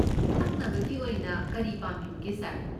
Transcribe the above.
ꯊꯛꯅꯕꯒꯤ ꯑꯣꯏꯅ ꯀꯔꯤ ꯄꯥꯝꯕꯤꯕꯒꯦ, ꯁꯥꯔ?